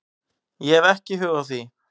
Ég hef ekki hug á því